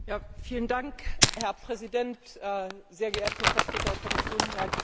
Herr Präsident, sehr geehrte Vertreter der Kommission, Herr Bundeskanzler!